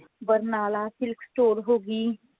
Barnala silk store ਹੋਗੀ